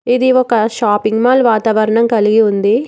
ఇది ఒక shopping mall వాతావరణం కలిగి ఉంది.